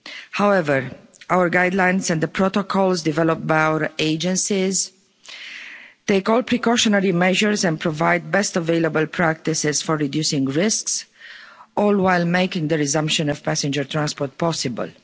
However, our guidelines and the protocols developed by our agencies take all precautionary measures and provide the best available practices for reducing risks, all while making the resumption of passenger transport possible.